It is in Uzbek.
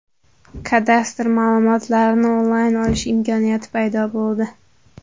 Kadastr ma’lumotlarini onlayn olish imkoniyati paydo bo‘ldi.